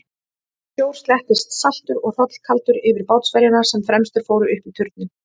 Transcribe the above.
Sjór slettist saltur og hrollkaldur yfir bátsverjana sem fremstir fóru upp í turninn.